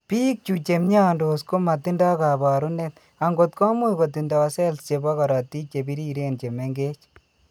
Biik chu che mnyandos ko matindo kaabarunet, ang'ot komuch kotindo cells che po korotiik che biriren che meng'ech.